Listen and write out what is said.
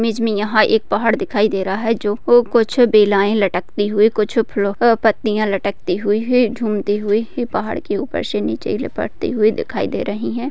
Image मे यहाँ एक पहाड़ दिखाई दे रहा है जो कुछ बेलाए लटकते हुई कुछ पट्टीया लटकती हुई झूमती हुई ये पहाड़ से नीचे लपटी हुई दिखाई दे रही है।